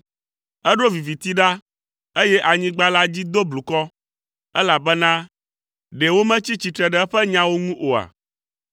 Eɖo viviti ɖa, eye anyigba la dzi do blukɔ elabena ɖe wometsi tsitre ɖe eƒe nyawo ŋu oa?